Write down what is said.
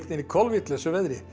í kolvitlausu veðri